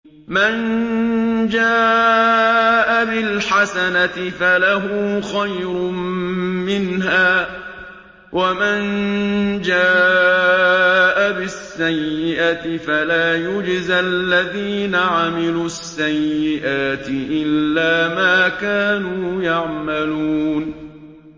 مَن جَاءَ بِالْحَسَنَةِ فَلَهُ خَيْرٌ مِّنْهَا ۖ وَمَن جَاءَ بِالسَّيِّئَةِ فَلَا يُجْزَى الَّذِينَ عَمِلُوا السَّيِّئَاتِ إِلَّا مَا كَانُوا يَعْمَلُونَ